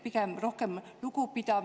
Pigem rohkem lugupidamist.